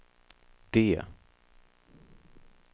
D